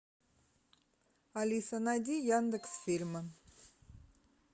алиса найди яндекс фильмы